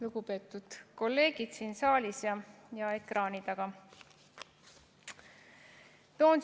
Lugupeetud kolleegid siin saalis ja ekraani taga!